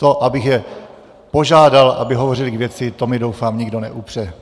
To, abych je požádal, aby hovořili k věci, to mi, doufám, nikdo neupře.